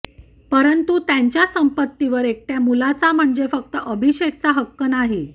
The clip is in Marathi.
परंतू त्यांच्या संपत्तीवर एकट्या मुलाचा म्हणजे फक्त अभिषेकचा हक्क नाही